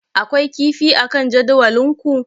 Akwai kifi akan jadawalinku?